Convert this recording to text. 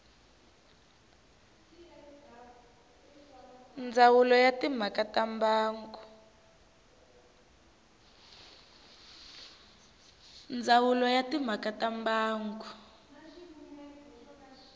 ndzawulo ya timhaka ta mbango